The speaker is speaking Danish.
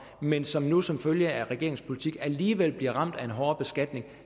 men som nu som følge af regeringens politik alligevel bliver ramt af en hårdere beskatning